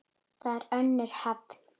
Þar er önnur höfn.